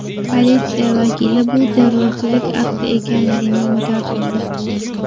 Politsiya vakili bu terrorchilik akti ekanligini inkor qildi.